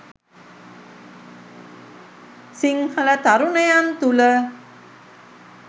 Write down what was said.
සිංහල තරුණයන් තුළ